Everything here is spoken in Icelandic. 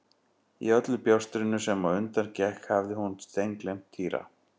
Í öllu bjástrinu sem á undan gekk hafði hún steingleymt Týra.